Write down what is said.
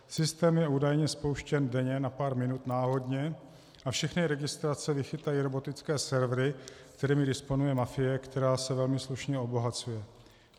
Systém je údajně spouštěn denně na pár minut náhodně a všechny registrace vychytají robotické servery, kterými disponuje mafie, která se velmi slušně obohacuje.